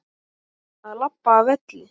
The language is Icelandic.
Að labba af velli?